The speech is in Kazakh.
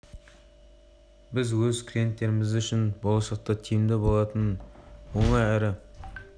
біз өз клиенттеріміз үшін болашақта тиімді болатын оңай әрі ыңғайлы өнімдерді солардың ішінде кредиттік карталарды ұсынуды